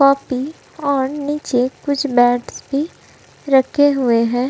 Copy औन् नीचे कुछ मैंटस् भी रखे हुए हैं।